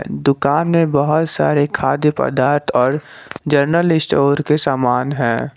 दुकान है बहुत सारे खाद्य पदार्थ और जनरल स्टोर के समान है।